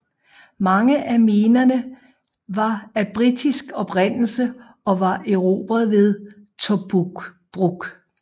Mange af minerne var af britisk oprindelse og var erobret ved Tobruk